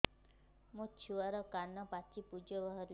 ମୋ ଛୁଆର କାନ ପାଚି ପୁଜ ବାହାରୁଛି